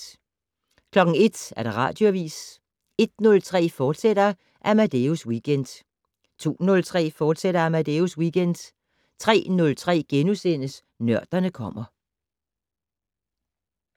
01:00: Radioavis 01:03: Amadeus Weekend, fortsat 02:03: Amadeus Weekend, fortsat 03:03: Nørderne kommer *